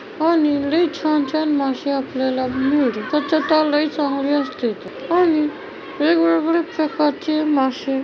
आणि लय छान छान मासे आपल्याला मिळ त्याच्यात हा लई चांगली असतेत आणि वेगवेगळे प्रकारचे मासे--